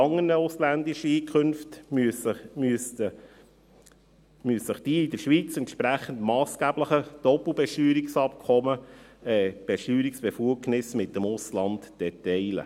Bei anderen ausländischen Einkünften müsste sie sich, den massgeblichen Doppelbesteuerungsabkommen entsprechend, die Steuerbefugnisse teilen.